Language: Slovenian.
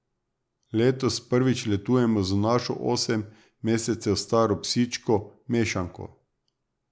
Letos prvič letujemo z našo osem mesecev staro psičko, mešanko.